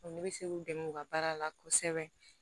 ne bɛ se k'u dɛmɛ u ka baara la kosɛbɛ